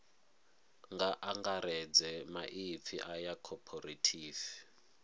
nga angaredza maipfi aya cooperative